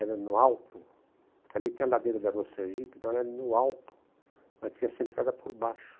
Era no alto, porque ali tem a ladeira da Rua Sergipe, então era no alto, mas tinha essa entrada por baixo.